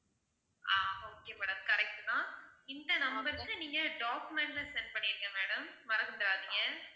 ஆஹ் okay madam correct தான் இந்த number க்கு நீங்க document ல send பண்ணிருங்க madam மறந்துடாதீங்க